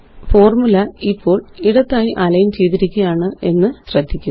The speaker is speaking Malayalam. ഫോര്മുല ഇപ്പോള് ഇടത്തായി അലൈന് ചെയ്തിരിക്കുകയാണെന്ന് ശ്രദ്ധിക്കുക